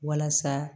Walasa